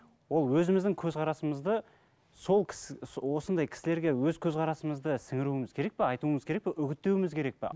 ол өзіміздің көзқарасымызды сол кісі осындай кісілерге өз көзқарасымызды сіңіруіміз керек пе айтуымыз керек пе үгіттеуімміз керек пе